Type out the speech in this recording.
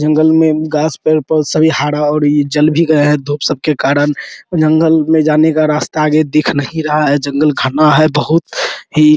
जंगल में घास पेड़-पौधे सभी हरा और ये जल भी गया है धुप सब के कारन जंगल में जाने का रास्ता आगे दिख नहीं रहा है जंगल घना है बहुत ही --